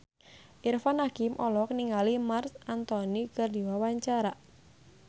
Irfan Hakim olohok ningali Marc Anthony keur diwawancara